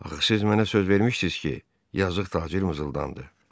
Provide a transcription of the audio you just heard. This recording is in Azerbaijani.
Axı siz mənə söz vermişdiz ki, yazılı tacir mızıldandı.